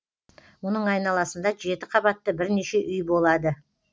мұның айналасында жеті қабатты бірнеше үй болады